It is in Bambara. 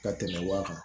Ka tɛmɛ wa kan